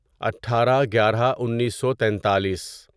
اٹھارہ گیارہ انیسو تینتالیس